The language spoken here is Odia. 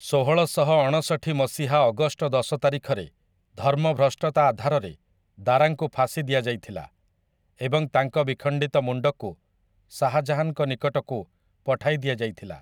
ଷୋହଳଶହ ଅଣଷଠି ମସିହା ଅଗଷ୍ଟ ଦଶ ତାରିଖରେ ଧର୍ମଭ୍ରଷ୍ଟତା ଆଧାରରେ ଦାରାଙ୍କୁ ଫାଶୀ ଦିଆଯାଇଥିଲା ଏବଂ ତାଙ୍କ ବିଖଣ୍ଡିତ ମୁଣ୍ଡକୁ ଶାହାଜାହାନ୍‌ଙ୍କ ନିକଟକୁ ପଠାଯାଇଥିଲା ।